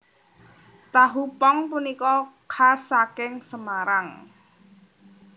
Tahu pong punika khas saking Semarang